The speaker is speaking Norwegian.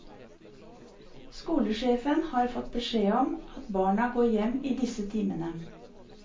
Skolesjefen har fått beskjed om at barna går hjem i disse timene.